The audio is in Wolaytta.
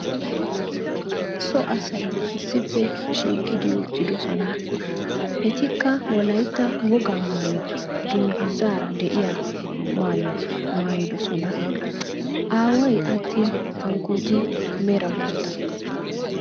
So asay issippe shiiqidi uttidosona. Etikka wolaytta wogaa maayuwa dungguzaara de'iya maayuwa maayidosona. Aaway attin hankkooti mera bootta.